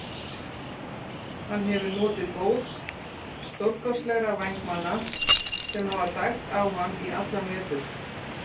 Hann hefur notið góðs stórkostlegra vængmanna sem hafa dælt á hann í allan vetur.